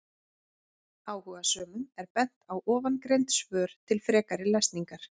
Áhugasömum er bent á ofangreind svör til frekari lesningar.